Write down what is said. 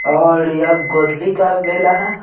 और यह गोदली का बेला है।